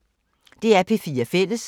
DR P4 Fælles